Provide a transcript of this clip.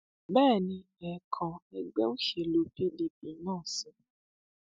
bẹ́ẹ̀ ni ẹẹkan ẹgbẹ òṣèlú pdp náà sọ